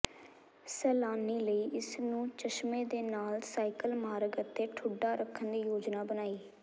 ਸੈਲਾਨੀ ਲਈ ਇਸ ਨੂੰ ਚਸ਼ਮੇ ਦੇ ਨਾਲ ਸਾਈਕਲ ਮਾਰਗ ਅਤੇ ਠੁੱਡਾ ਰੱਖਣ ਦੀ ਯੋਜਨਾ ਬਣਾਈ